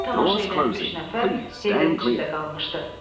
Buna tamaşa eləyən üç nəfər heyrət içində qalmışdı.